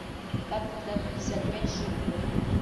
как продать пятьдесят пять шиллингов